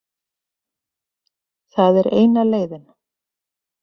Það er eina leiðin.